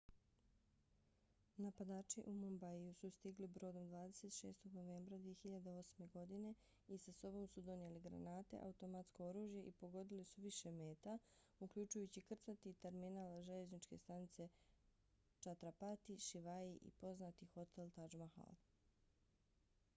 napadači u mumbaiju su stigli brodom 26. novembra 2008. godine i sa sobom su donijeli granate automatsko oružje i pogodili su više meta uključujući krcati terminal željezničke stanice chhatrapati shivaji i poznati hotel taj mahal